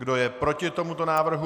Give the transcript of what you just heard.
Kdo je proti tomuto návrhu?